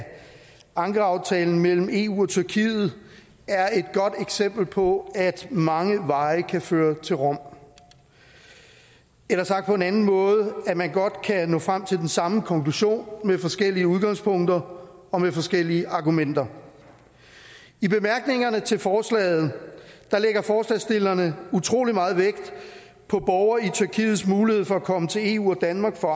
ankaraaftalen mellem eu og tyrkiet er et godt eksempel på at mange veje kan føre til rom eller sagt på en anden måde at man godt kan nå frem til den samme konklusion med forskellige udgangspunkter og med forskellige argumenter i bemærkningerne til forslaget lægger forslagsstillerne utrolig meget vægt på borgere i tyrkiets mulighed for at komme til eu og danmark for